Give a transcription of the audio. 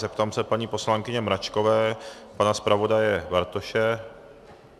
Zeptám se paní poslankyně Mračkové, pana zpravodaje Bartoše.